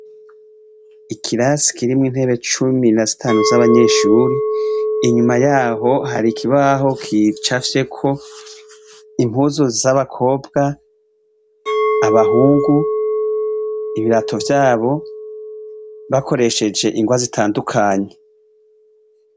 Ikirasi kirimwo intebe cumi na zitanu z'abanyeshure inyuma yaho hari ikibaho gicafyeko impuzu z'abakobwa, abahungu, ibirato vyabo bakoresheje ingwa zitandukanye.